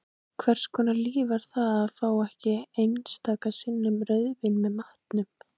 Hvers konar líf var það að fá ekki einstaka sinnum rauðvín með matnum?